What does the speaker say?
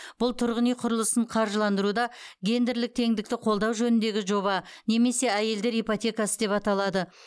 бұл тұрғын үй құрылысын қаржыландыруда гендерлік теңдікті қолдау жөніндегі жоба немесе әйелдер ипотекасы деп аталады